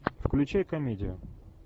включай комедию